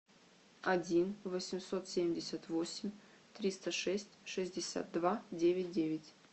один восемьсот семьдесят восемь триста шесть шестьдесят два девять девять